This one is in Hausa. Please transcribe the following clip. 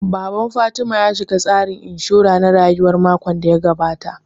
Baban Fatima ya shiga tsarin inshura na rayuwa makon da ya gabata